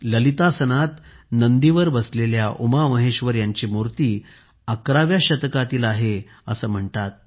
ललितासनात नंदीवर बसलेल्या उमामहेश्वर यांची मूर्ती 11 व्या शतकातील आहे असे म्हणतात